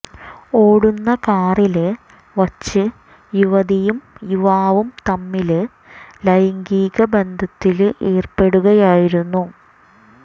ഓടുന്ന കാറില് വച്ച് യുവതിയും യുവാവും തമ്മില് ലൈംഗിക ബന്ധത്തില് ഏര്പ്പെടുകയായിരുന്നു